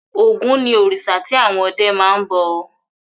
Ògún ni òrìṣà tí àwọn ọdẹ máa ń bọ.